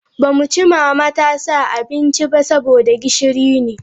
Ba mu ci mama ta sa abinci ba saboda gishiri ne.